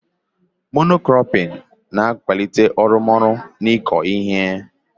Mono kropịn ga-akwalite arụmọrụ n'ịkụ ihe.